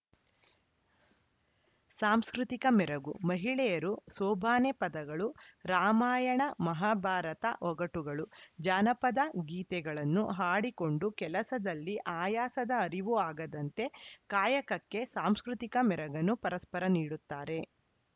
ಸಾಂಸ್ಕೃತಿಕ ಮೆರಗು ಮಹಿಳೆಯರು ಸೋಬಾನೆ ಪದಗಳು ರಾಮಾಯಣ ಮಹಾಭಾರತ ಒಗಟುಗಳು ಜಾನಪದ ಗೀತೆಗಳನ್ನು ಹಾಡಿಕೊಂಡು ಕೆಲಸದಲ್ಲಿ ಆಯಾಸದ ಅರಿವು ಆಗದಂತೆ ಕಾಯಕಕ್ಕೆ ಸಾಂಸ್ಕೃತಿಕ ಮೆರಗನ್ನು ಪರಸ್ಪರ ನೀಡುತ್ತಾರೆ